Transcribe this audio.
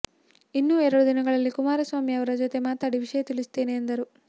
ಇನ್ನೂ ಎರಡು ದಿನದಲ್ಲಿ ಕುಮಾರಸ್ವಾಮಿ ಅವರ ಜೊತೆ ಮಾತಾಡಿ ವಿಷಯ ತಿಳಿಸುತ್ತೇನೆ ಎಂದರು